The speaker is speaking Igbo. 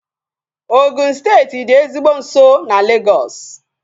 Ogụn steeti dị ezigbo nso na Legọs